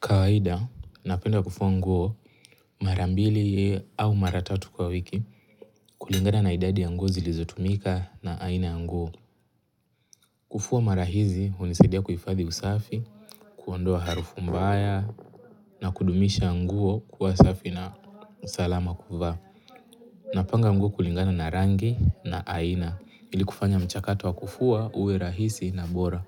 Kawaida, napenda kufua nguo mara mbili au mara tatu kwa wiki kulingana na idadi ya nguo zilizotumika na aina ya nguo. Kufua mara hizi, hunisidia kuhifadhi usafi, kuondoa harufu mbaya na kudumisha nguo kuwa safi na usalama kuvaa. Napanga nguo kulingana na rangi na aina ili kufanya mchakato wa kufua uwe rahisi na bora.